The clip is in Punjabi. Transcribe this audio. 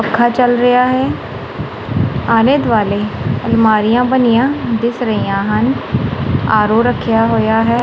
ਪੱਖਾ ਚਲ ਰਿਹਾ ਹੈ ਆਲੇ ਦੁਆਲੇ ਅਲਮਾਰੀਆਂ ਬਣੀਆਂ ਦਿਸ ਰਹੀਆਂ ਹਨ ਆ_ਰੋ ਰੱਖਿਆ ਹੋਇਆ ਹੈ।